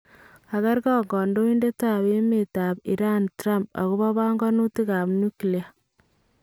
Kakeerkong' kandoindetab emet ab Iran Trump akoboo panganutikab nuklia